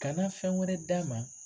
Kana fɛn wɛrɛ d'a ma